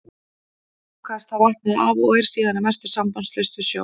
Lokaðist þá vatnið af og er síðan að mestu sambandslaust við sjó.